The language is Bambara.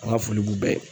An ka foli b'u bɛɛ ye